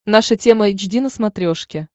наша тема эйч ди на смотрешке